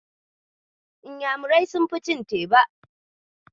Inyamurai sunfi cin teba.